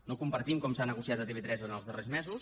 no compartim com s’ha negociat a tv3 en els darrers mesos